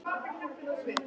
Atena, áttu tyggjó?